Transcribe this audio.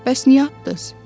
Bəs niyə atdız?